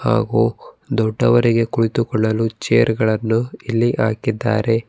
ಹಾಗು ದೊಡ್ಡವರಿಗೆ ಕುಳಿತುಕೊಳ್ಳಲು ಚೇರ್ ಗಳನ್ನು ಇಲ್ಲಿ ಹಾಕಿದ್ದಾರೆ.